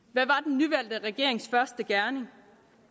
hvad regerings første gerning